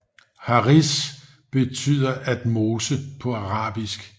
Haris betyder at mose på arabisk